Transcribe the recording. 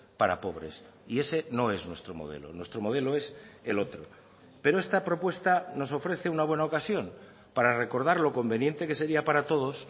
para pobres y ese no es nuestro modelo nuestro modelo es el otro pero esta propuesta nos ofrece una buena ocasión para recordar lo conveniente que sería para todos